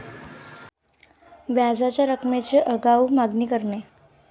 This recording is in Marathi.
व्याजाच्या रकमेची आगाऊ मागणी करणे